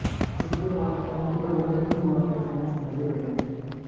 जिसके बाद उनके और निरहुआ के फैंस मजे ले रहे हैं